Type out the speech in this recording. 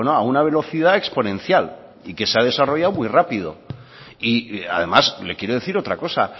a una velocidad exponencial y que se ha desarrollado muy rápido y además le quiero decir otra cosa